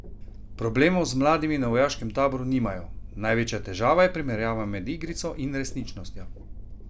Problemov z mladimi na vojaškem taboru nimajo: "Največja težava je primerjava med igrico in resničnostjo.